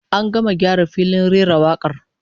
An gama gyara filin rera wakar